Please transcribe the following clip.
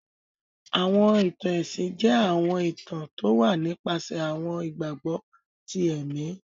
Àwọn ìtan-ẹ̀sin jẹ̀ àwọn ìtàn towà nipàsẹ̀ àwọn ìgbagbọ tì ẹ̀mì